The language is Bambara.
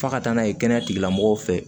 F'a ka taa n'a ye kɛnɛya tigilamɔgɔw fɛ